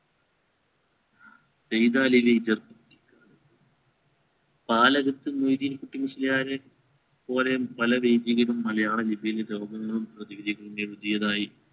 സൈദാലി വൈദ്യർ നാലകത്ത് മൊയ്‌ദീൻ കുട്ടി മുസ്ലിയാരെ പോലെയും പല വൈദികരും മലയാള ലിപിയിൽ പ്രതിവിധി നിന്നെഴുതിയതായി